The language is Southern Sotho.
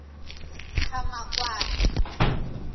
qhamakwane